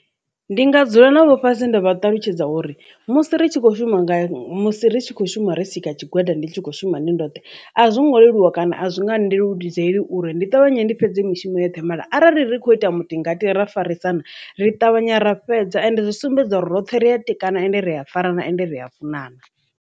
Ndi nga dzula navho fhasi nda vha ṱalutshedza uri musi ri tshi khou shuma nga musi ri tshi khou shuma ri nga tshigwada ndi tshi khou shuma ndi ndothe a zwo ngo leluwa kana a zwi nga ndeludzeli uri ndi ṱavhanye ndi fhedze mishumo yoṱhe mara arali ri kho ita mutingati ra farisana ri ṱavhanya ra fhedza and zwi sumbedza uri roṱhe ri a tikana ende ri a fara na ende ri a funana.